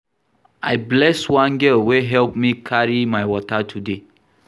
I bless one girl wey help me carry my water today